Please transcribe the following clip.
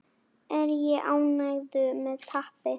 Er ég ánægður með tapið?